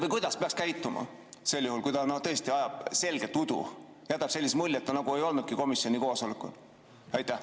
Või kuidas peaks käituma sel juhul, kui ta tõesti ajab selgelt udu, jätab sellise mulje, et ta nagu ei olnudki komisjoni koosolekul?